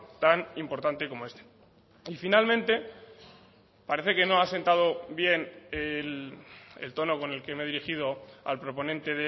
tan importante como este y finalmente parece que no ha sentado bien el tono con el que me he dirigido al proponente